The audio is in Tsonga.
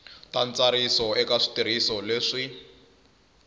ta ntsariso eka switirhiso leswi